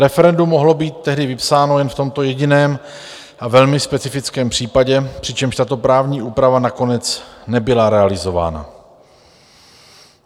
Referendum mohlo být tehdy vypsáno jen v tomto jediném a velmi specifickém případě, přičemž tato právní úprava nakonec nebyla realizována.